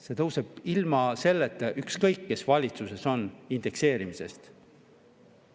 See tõuseb ka ilma, indekseerimisest, ükskõik kes valitsuses on.